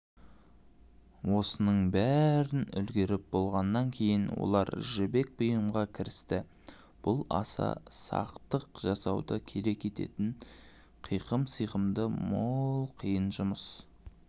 осының бәрін үлгеріп болғаннан кейін олар жібек бұйымға кірісті бұл аса сақтық жасауды керек ететін қиқым-сиқымы мол қиын жұмыс